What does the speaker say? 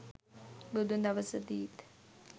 බුදුන් දවසදීත්